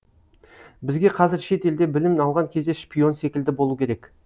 бізге қазір шет елде білім алған кезде шпион секілді болу керек